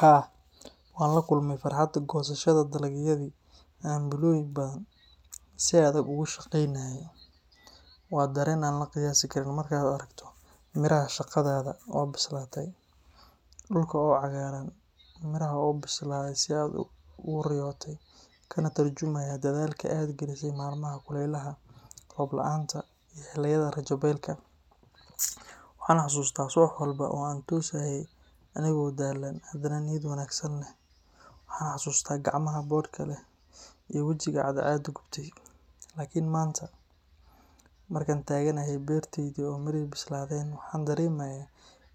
Haa, waan la kulmay farxadda goosashada dalagyadii aan bilooyin badan si adag uga shaqeynayay. Waa dareen aan la qiyaasi karin markaad aragto miraha shaqadaada oo bislaaday, dhulka oo cagaaran, midhaha oo u bislaaday sidii aad u riyootay, kana tarjumaya dadaalka aad gelisay maalmaha kulaylaha, roob la’aanta, iyo xilliyada rajo beelka. Waxaan xasuustaa subax walba oo aan toosayay anigoo daalan, hadana niyad wanaagsan leh, waxaan xasuustaa gacmaha boodhka leh iyo wejiga cadceedu gubtay. Laakiin maanta, markaan taaganahay beertaydii oo midhihii bislaadeen, waxaan dareemayaa